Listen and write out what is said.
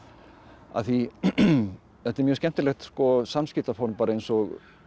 af því þetta er mjög skemmtilegt samskiptaform bara eins og